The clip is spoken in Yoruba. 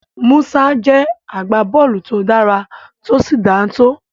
Musa jẹ́ agbábọ́ọ̀lù to dára tó sì dáńtọ́.